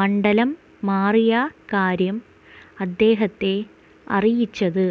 മണ്ഡലം മാറിയ കാര്യം അദ്ദേഹത്തെ അറിയിച്ചത്